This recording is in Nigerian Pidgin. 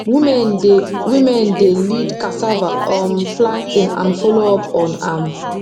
women dey women dey lead cassava um planting and follow up on am